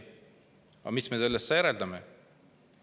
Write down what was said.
Mis me sellest järeldame?